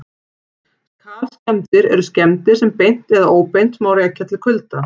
Kalskemmdir eru skemmdir sem beint eða óbeint má rekja til kulda.